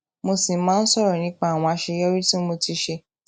mo sì máa ń sòrò nípa àwọn àṣeyọrí tí mo ti ṣe